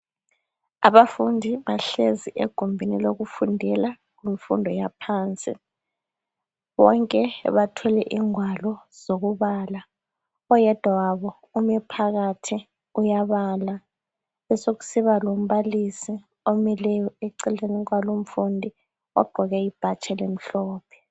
Abafundi bahlezi egumbini lokufundela imfundo yaphansi , bonke bathwele ingwalo zokubala oyedwa wabo ume phakathi uyabala beseku siba lo mbalisi omileyo eceleni kwalo imfundo ogqoke ibhatshi elimhlophe.